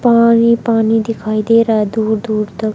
पानी पानी दिखाई दे रहा है दूर दूर तक--